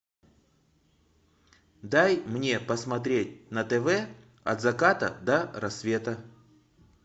дай мне посмотреть на тв от заката до рассвета